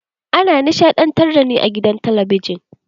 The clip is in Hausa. An nishaɗantar da ni a gidan talabijin.